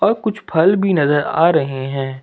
और कुछ फल भी नजर आ रहे हैं।